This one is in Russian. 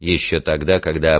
ещё тогда когда